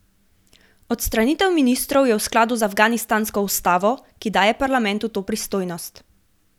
Odstavitev ministrov je v skladu z afganistansko ustavo, ki daje parlamentu to pristojnost.